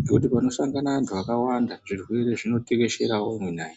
ngekuti panosangane antu akawanda zvirwere zvinotekesherawo munai.